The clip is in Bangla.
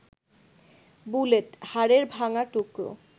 বুলেট, হাড়ের ভাঙা টুকরো